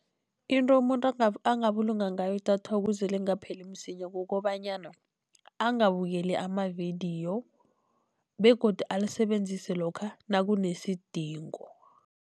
Into umuntu angabulunga ngayo idatha ukuze lingapheli msinya, kukobanyana angabukeli amavidiyo begodu alisebenzise lokha nakunesidingo.